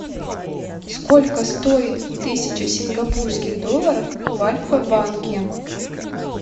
сколько стоит тысяча сингапурских долларов в альфа банке